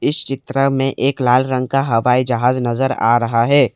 इस चित्र में एक लाल रंग का हवाई जहाज नजर आ रहा है।